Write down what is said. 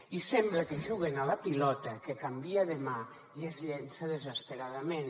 i sembla que juguen a la pilota que canvia de mà i es llença desesperadament